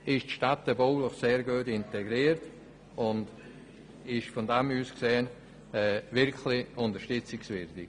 Er ist städtebaulich sehr gut integriert und von daher gesehen wirklich unterstützungswürdig.